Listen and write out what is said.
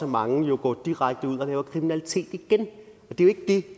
mange jo går direkte ud og laver kriminalitet igen det er ikke det